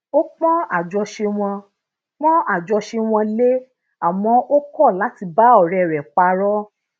ó pon ajose won pon ajose won le àmó o ko lati ba ore re paró